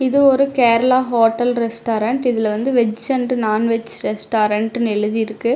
இது ஒரு Kerala hotel restaurant இதுல வந்து வெஜ் அண்ட் நான் வெஜ் ரெஸ்டாரன்ட்னு எழுதிருக்கு.